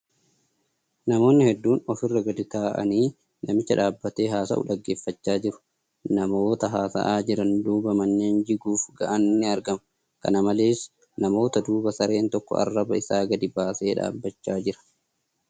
Namoonni hedduun ofirra gadu taa'anii namicha dhaaabbatee haasa'u dhaggeeffachaa jiru. Namoota haasa'aa jiran duuba manneen jiguuf ga'an ni argamu. Kana malees, namoota duuba sareen tokko arraba isaa gadi baasee dhaabbachaa jira.